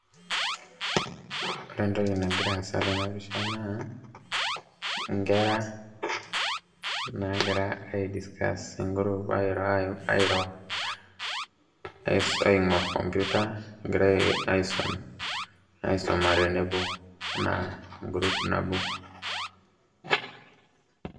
Ore entoki nagira aasa tenapisha naa, inkera nagira ai discuss tegrup airo airo, aing'or computer, egirai aisum aisuma tenebo, enaa e group nabo.